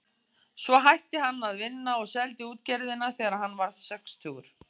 Svo hætti hann að vinna og seldi útgerðina þegar hann varð sextugur.